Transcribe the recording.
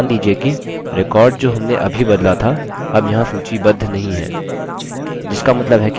ध्यान दीजिये कि record जो हमने अभी बदला था अब यहाँ सूचीबद्ध नहीं है